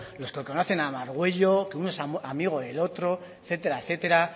los que conocen a margüello que uno es amigo del otro etcétera